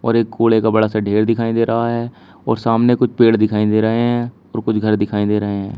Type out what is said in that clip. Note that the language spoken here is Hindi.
और एक कूड़े का बड़ा सा ढेर दिखाई दे रहा है और सामने कुछ पेड़ दिखाई दे रहे हैं और कुछ घर दिखाई दे रहे हैं।